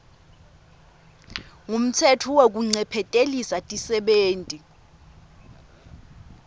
ngumtsetfo wekuncephetelisa tisebenti